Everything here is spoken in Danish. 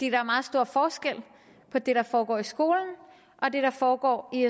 er meget stor forskel på det der foregår i skolen og det der foregår i